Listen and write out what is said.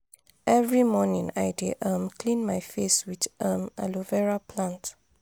every morning i dey um clean my face with um aloe vera plant.